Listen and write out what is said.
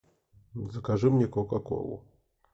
закажи мне кока колу